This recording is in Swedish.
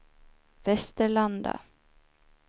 Västerlanda